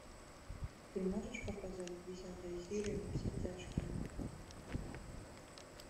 ты можешь показать десятая серия во все тяжкие